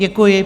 Děkuji.